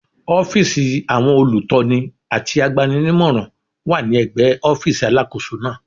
Ọ́fíìsì àwọn olùtọ́ni àti agbani-nímọ̀ràn wà ní ẹ̀gbẹ́ ọ́fíìsì Alákóso náà.